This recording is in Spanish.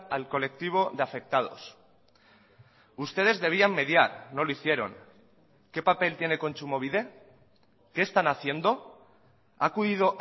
al colectivo de afectados ustedes debían mediar no lo hicieron qué papel tiene kontsumobide qué están haciendo ha acudido